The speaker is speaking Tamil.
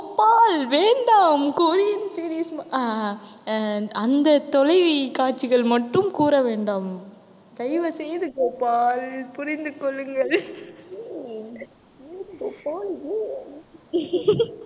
கோபால் வேண்டாம் கொரியன் series ம~ ஆஹ் அஹ் அந்த தொலைக்காட்சிகள் மட்டும் கூற வேண்டாம் தயவு செய்து கோபால் புரிந்து கொள்ளுங்கள் ஏன் ஏன் கோபால் ஏன்